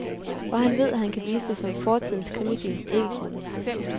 Og han ved, at han kan vise det som fortidens krimifilm ikke kunne.